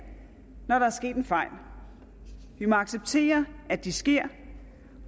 når der er sket en fejl vi må acceptere at det sker